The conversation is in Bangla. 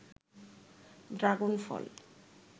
ড্রাগন ফল